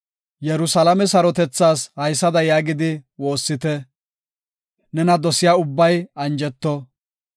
Yerusalaame sarotethaas haysada yaagidi woossite; “Nena dosiya ubbay anjeto.